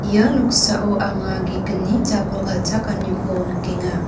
ia noksao anga ge·gni jabol galchakaniko nikenga.